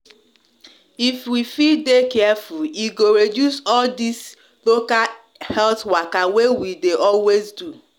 if we fit dey careful e go reduce all this local health waka wey we de always do